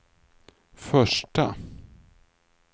första